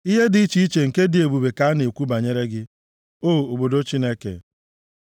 Ihe dị iche iche nke dị ebube ka a na-ekwu banyere gị, O obodo Chineke; Sela